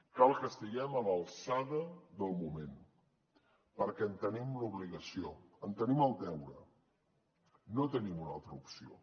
cal que estiguem a l’alçada del moment perquè en tenim l’obligació en tenim el deure no tenim una altra opció